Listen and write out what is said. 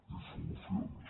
i solucions